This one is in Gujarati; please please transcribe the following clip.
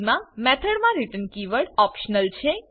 મા મેથોડ મા રિટર્ન કીવર્ડ ઓપ્શનલ છે